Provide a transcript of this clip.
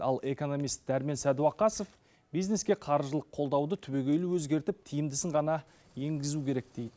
ал экономист дәрмен сәдуақасов бизнеске қаржылық қолдауды түбегейлі өзгертіп тиімдісін ғана енгізу керек дейді